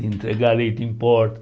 De entregar leite em porta.